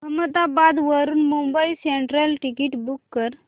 अहमदाबाद वरून Mumbai central ticket book कर